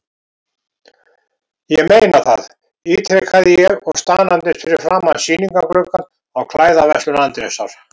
Ég meina það, ítrekaði ég og staðnæmdist fyrir framan sýningarglugga á klæðaverslun Andrésar.